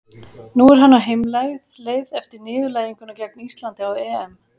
Nú er hann á heimleið eftir niðurlæginguna gegn Íslandi á EM.